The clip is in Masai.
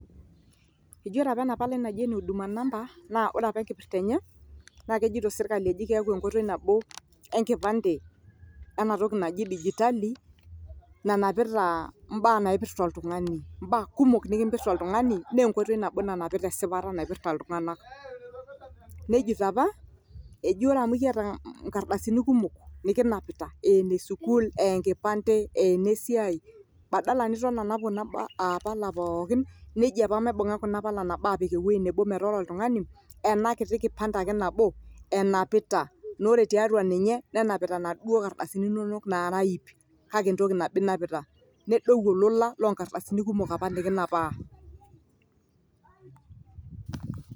eji ore apa ena palai naji ene huduma namba naa ore apa enkipirta ene naa kejito serkali eji keeku enkoitoi nabo enkipante ena toki naji dijitali nanapita mbaa naipirta oltung'ani. mbaa kumok nikimpirta oltung'ani naa enkoitoi nabo nanapita esipata naipirta iltung'anak, nejito apa eji ore amu ekiyata nkardasini kumok nikinapita ee enesukuul, ee enkipante, ee enesiai, badala niton anap kuna aah pala pookin, neji apa maibung'a kuna pala nabo aapik ewuei nebo metaa ore oltung'ani ena kiti kipante ake nabo enapita, naa ore tiatu ninye nenapita naduo kardasini inonok naara iip kake entoki nabo inapita. nedou olola lo nkardasini kumok apa nikinapaa.